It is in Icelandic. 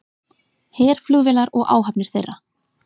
Herflugvélar og áhafnir þeirra